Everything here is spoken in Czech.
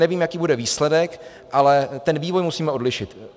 Nevím, jaký bude výsledek, ale ten vývoj musíme odlišit.